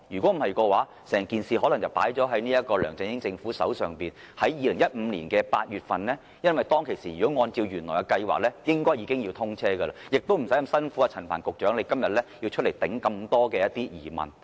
否則，整件事可能放在梁振英政府的手上，在2015年8月便要推行，因為按照原來計劃，當時已經要通車，亦不需要陳帆局長今天回答眾多疑問。